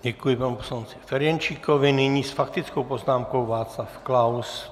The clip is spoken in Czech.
Děkuji panu poslanci Ferjenčíkovi, nyní s faktickou poznámkou Václav Klaus.